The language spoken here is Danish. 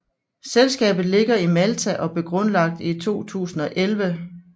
Selskabet ligger i Malta og blev grundlagt i 2011